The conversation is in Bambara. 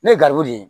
Ne ye garibu ye